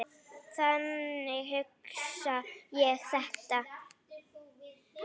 Þannig hugsa ég þetta.